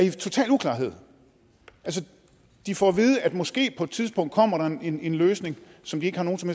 i total uklarhed altså de får at vide at der måske på et tidspunkt kommer en en løsning som de ikke har nogen som